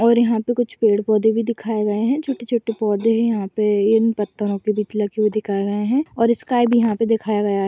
और यहाँ पे कुछ पेड़-पौधे भी दिखाए गये हैं छोटे-छोटे पौधे हैं यहाँ पे इन पत्थरों के बीच लगे हुए दिखाए गये हैं और स्काई भी यहाँ पे दिखाया गया है।